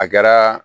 A kɛra